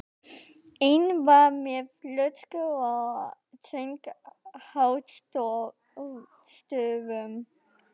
Einn var með flösku og söng hástöfum.